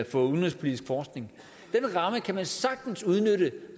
for udenrigspolitisk forskning den ramme kan man sagtens udnytte